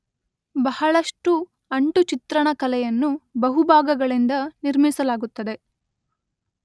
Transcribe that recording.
ಬಹಳಷ್ಟು ಅಂಟು ಚಿತ್ರಣ ಕಲೆಯನ್ನು ಬಹು ಭಾಗಗಳಿಂದ ನಿರ್ಮಿಸಲಾಗುತ್ತದೆ